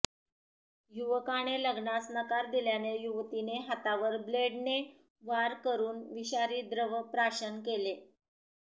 युवकाने लग्नास नकार दिल्याने युवतीने हातावर ब्लेडने वार करून विषारी द्रव प्राशन केले